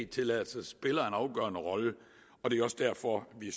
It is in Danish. tilladelser spiller en afgørende rolle det er også derfor vi